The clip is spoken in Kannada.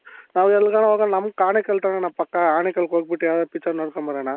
ನಾವು ಎಲ್ಲಿಗಾನ ಹೋಗಣ ನಮ್ ಆನೇಕಲ್ ತಾನೆಣ್ಣ ಪಕ್ಕ ಆನೇಕಲ್ ಹೋಗ್ಬಿಟ್ಟು ಯಾವ್ದಾದ್ರು picture ನೋಡ್ಕೊಂಡ್ ಬರೋಣ.